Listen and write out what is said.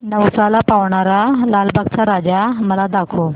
नवसाला पावणारा लालबागचा राजा मला दाखव